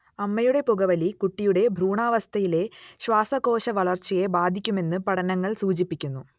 അമ്മയുടെ പുകവലി കുട്ടിയുടെ ഭ്രൂണാവസ്ഥയിലെ ശ്വാസകോശവളർച്ചയെ ബാധിക്കുമെന്ന് പഠനങ്ങൾ സൂചിപ്പിക്കുന്നു